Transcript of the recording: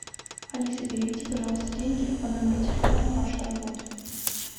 алиса переведи пожалуйста деньги по номеру телефона паша работа